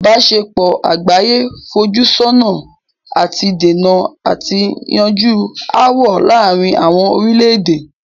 ìbáṣepọ̀ àgbáyé fojú sun ọ̀nà àti dènà àti yanjú ááwọ̀ láàrin àwọn orílẹ̀-èdè.